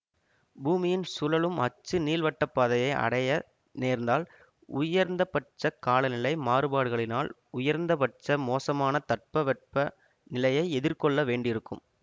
பூமியின் சுழலும் அச்சு நீள்வட்டப்பாதையை அடைய நேர்ந்தால் உயர்ந்தபட்ச காலநிலை மாறுபாடுகளினால் உயர்ந்தபட்ச மோசமான தட்பவெப்ப நிலையை எதிர்கொள்ள வேண்டியிருக்கும்